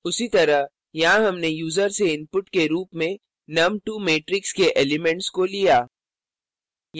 उसी तरह यहाँ हमने यूज़र से input के रूप में num2 matrix के elements को लिया